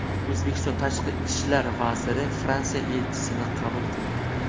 O‘zbekiston Tashqi ishlar vaziri Fransiya elchisini qabul qildi.